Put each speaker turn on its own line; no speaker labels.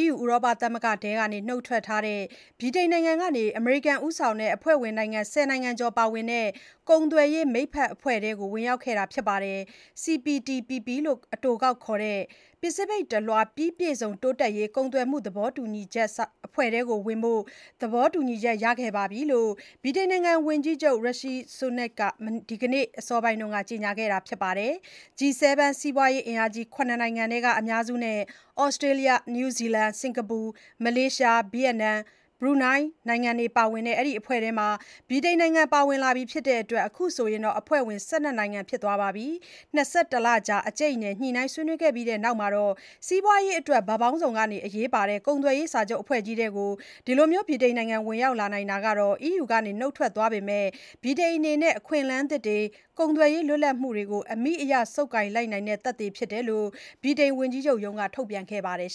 EU ဥရောပသမဂ္ဂထဲက နှုတ်ထွက်ထားတဲ့ ဗြိတိန်နိုင်ငံက အမေရိကန်ဦးဆောင်တဲ့ အဖွဲ့ဝင်နိုင်ငံ ၁၀ နိုင်ငံကျော်ပါဝင်တဲ့ ကုန်သွယ်ရေးမိတ်ဖက်အဖွဲ့ထဲကို ဝင်ရောက်ခဲ့တာဖြစ်ပါတယ်၊ CPTPP လို့ အတိုခေါက်ခေါ်တဲ့ ပစိဖိတ်တလွှား ပြီးပြည့်စုံတိုးတက်ရေး ကုန်သွယ်မှုသဘောတူချက်အဖွဲ့ထဲဝင်ဖို့ သဘောတူချက်ရခဲ့ပြီလို့ ဝန်ကြီးချုပ် Rishi Sunak က ဒီနေ့ အစောပိုင်းက ကြေညာခဲ့ပါတယ်။ G7 စီးပွားရေးအင်အားကြီး ၇ နိုင်ငံထဲက အများစုနဲ့ သြစတေးလျ၊ နယူးဇီလန်၊ စင်္ကာပူ၊ မလေးရှား၊ ဗီယက်နမ်၊ ဘရူနိုင်းတို့ ပါဝင်တဲ့ ဒီအဖွဲထဲ ဗြိတိန်နိုင်ငံပါဝင်လာပြီဖြစ်တဲ့အတွက် အခုဆို အဖွဲ့ဝင် ၁၂ နိုင်ငံဖြစ်သွားပါပြီ။ ၂၁ လကြာ အကြိတ်အနယ် ညှိနှိုင်းဆွေးနွေးခဲ့ကြပြီးနောက် စီးပွားရေးအတွက် ဘက်ပေါင်းစုံက အရေးပါတဲ့ ကုန်သွယ်ရေးစာချုပ်အဖွဲ့ကြီးထဲ ဗြိတိန်နိုင်ငံ ဝင်ရောက်နိုင်လိုက်တာဟာ EU ကနှုတ်ထွက်ထားပေမဲ့ ဗြိတိန်အနေနဲ့ အခွင့်အလမ်းသစ်တွေ၊ ကုန်သွယ်ရေးလွတ်လပ်မှုတွေကို အမိအရ ဆုပ်ကိုင်လိုက်နိုင်တဲ့ သက်သေဖြစ်တယ်လို့ ဗြိတိန်ဝန်ကြီးချုပ်ရုံးက ထုတ်ပြန်ခဲ့ပါတယ်